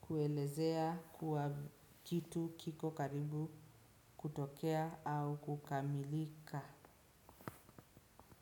kuelezea kwa kitu kiko karibu kutokea au kukamilika.